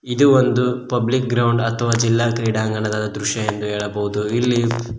ಇದು ಒಂದು public ground ಅಥವಾ ಜಿಲ್ಲಾ ಕ್ರೀಡಾಂಗಣದ ದೃಶ್ಯ ಎಂದು ಹೇಳಬಹುದು ಇಲ್ಲಿ--